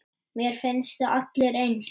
Mér finnst þið allir eins.